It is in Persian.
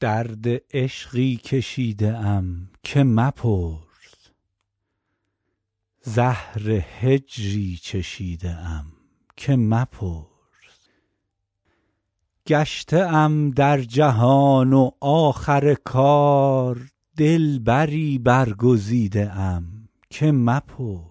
درد عشقی کشیده ام که مپرس زهر هجری چشیده ام که مپرس گشته ام در جهان و آخر کار دلبری برگزیده ام که مپرس